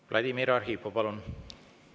Vladimir Arhipov, palun!